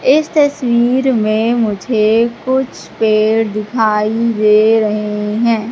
इस तस्वीर में मुझे कुछ पेड़ दिखाई दे रहें हैं।